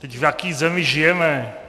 Vždyť v jaké zemi žijeme?